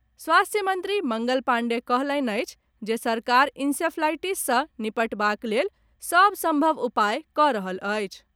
स्वास्थ्य मंत्री मंगल पांडेय कहलनि अछि जे सरकार इंसेफ्लाईटिस सॅ निपटबाक लेल सभ संभव उपाय कऽ रहल अछि।